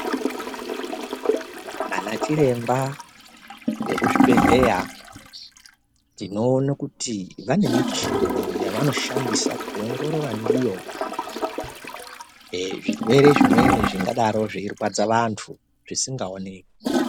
Ana chiremba vekuzvibhedhleya tinoone kuti vane michini yevanoshandisa kuongorora ndiyo ee zvirwere zvimweni zvingadaro zveirwadza vantu zvisingaoneki.